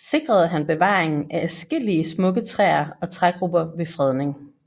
sikrede han bevaring af adskillige smukke træer og trægrupper ved fredning